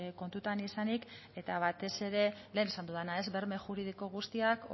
kontutan izanik eta batez ere lehen esan dudana berme juridiko guztiak